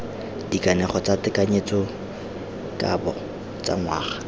dikanego tsa tekanyetsokabo tsa ngwaga